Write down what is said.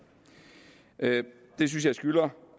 det synes jeg skylder